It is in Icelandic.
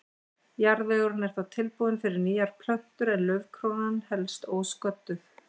Jarðvegurinn er þá tilbúinn fyrir nýjar plöntur en laufkrónan helst ósködduð.